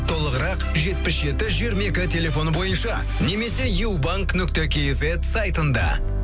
толығырақ жетпіс жеті жиырма екі телефоны бойынша немесе ю банк нүкте кизет сайтында